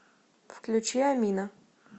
включи амина